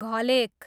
घलेक